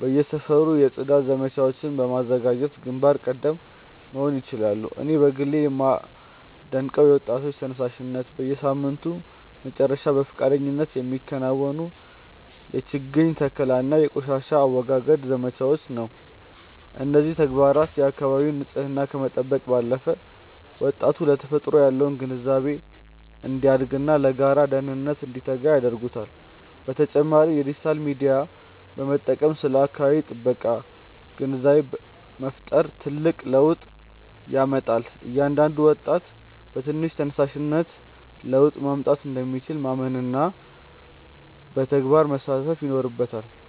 በየሰፈሩ የጽዳት ዘመቻዎችን በማዘጋጀት ግንባር ቀደም መሆን ይችላሉ። እኔ በግሌ የማደንቀው የወጣቶች ተነሳሽነት፣ በየሳምንቱ መጨረሻ በፈቃደኝነት የሚከናወኑ የችግኝ ተከላና የቆሻሻ አወጋገድ ዘመቻዎችን ነው። እነዚህ ተግባራት የአካባቢን ንፅህና ከመጠበቅ ባለፈ፣ ወጣቱ ለተፈጥሮ ያለው ግንዛቤ እንዲያድግና ለጋራ ደህንነት እንዲተጋ ያደርጉታል። በተጨማሪም የዲጂታል ሚዲያን በመጠቀም ስለ አካባቢ ጥበቃ ግንዛቤ መፍጠር ትልቅ ለውጥ ያመጣል። እያንዳንዱ ወጣት በትንሽ ተነሳሽነት ለውጥ ማምጣት እንደሚችል ማመንና በተግባር መሳተፍ ይኖርበታል።